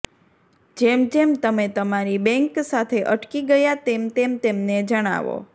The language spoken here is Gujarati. જેમ જેમ તમે તમારી બેંક સાથે અટકી ગયા તેમ તેમ તેમને જણાવો